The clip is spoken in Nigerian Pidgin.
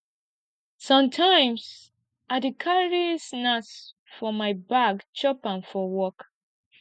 sometimes i dey carry snacks for my bag chop am for work